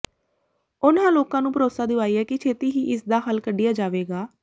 ਉਨ੍ਹਾਂ ਲੋਕਾਂ ਨੂੰ ਭਰੋਸਾ ਦਿਵਾਇਆ ਕਿ ਛੇਤੀ ਹੀ ਇਸ ਦਾ ਹੱਲ ਕੱਿਢਆ ਜਾਵੇਗਾ